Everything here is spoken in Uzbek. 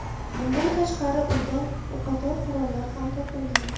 Bundan tashqari, uydan o‘qotar qurollar ham topilgan.